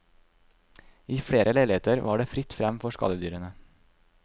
I flere leiligheter var det fritt frem for skadedyrene.